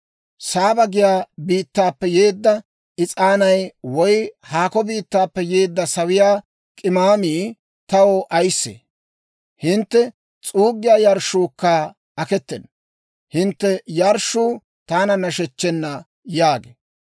Saaba giyaa biittaappe yeedda is'aanay woy haakko biittaappe yeedda sawiyaa k'imaamii taw ayissee? Hintte s'uuggiyaa yarshshuukka aketena. Hintte yarshshuu taana nashechchena» yaagee.